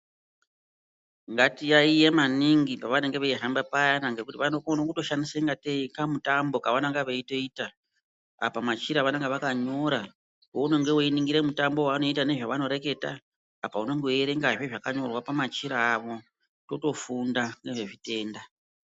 Ngatiyaiye maningi pavanenge veihamba payani ngekuti vanokone kutoshandisa kuite kungatei kamutambo kavanenge veitoita apa machira vanenge vakanyora. Paunenge weiningira mutambo wevanoita nezvavanoreketa apa unonga weierengazve zvakanyorwa pamachira avo, kutofunda ngezvitenda.